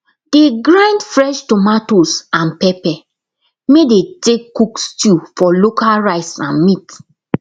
dey grind fresh tomatoes and pepper may dey take cook stew for local rice and meat